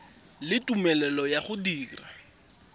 le tumelelo ya go dira